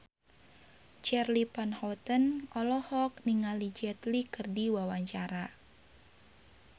Charly Van Houten olohok ningali Jet Li keur diwawancara